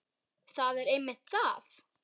Það er einmitt það.